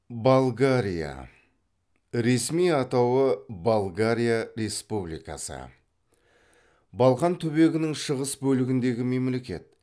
болгария ресми атауы болгария республикасы балқан түбегінің шығыс бөлігіндегі мемлекет